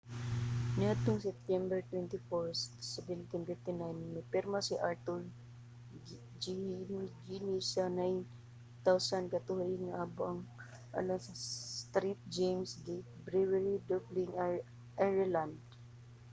niadtong septiyembre 24 1759 mipirma si arthur guinness sa 9,000 ka tuig nga abang alang sa st james' gate brewery sa dublin ireland